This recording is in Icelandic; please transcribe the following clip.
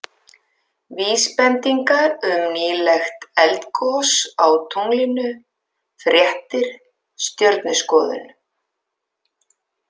Vísbendingar um nýleg eldgos á tunglinu Fréttir Stjörnuskoðun.